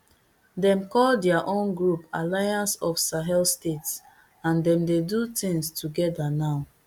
demm call dia own group alliance of sahel states and dem dey do tins togeda now